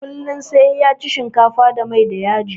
Kullum sai ya ci shinkafa da mai da yaji